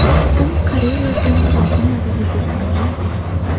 U karyerasini yakunladi, desak ham bo‘ladi.